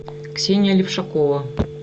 ксения левшакова